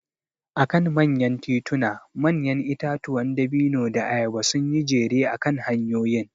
A kan manyan tituna manyan itatuwan dabino da ayaba sun yi jere akan hanyoyin.